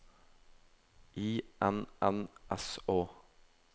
I N N S Å